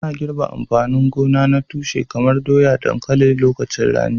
Ana girbe amfanin gona na tushe kamar doya da dankalin a lokacin rani.